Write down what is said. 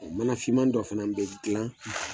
mana finmani dɔ fana bɛ dilan